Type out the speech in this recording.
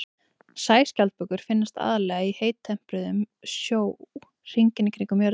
Sæskjaldbökur finnast aðallega í heittempruðum sjó hringinn í kringum jörðina.